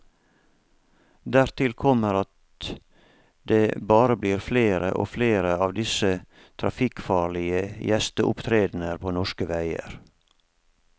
Dertil kommer at det bare blir flere og flere av disse trafikkfarlige gjesteopptredener på norske veier.